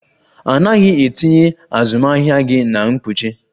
A naghị etinye azụmahịa gị na mkpuchi?